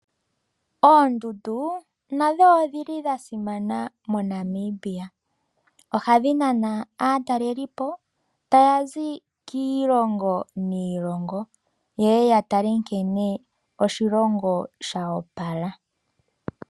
Oondundu nadho odhili dhasimana mo Namibia, ohadhi nana aatalelipo tayazi kiilongo niilongo yeye ya tale nkene oshilongo shoopala.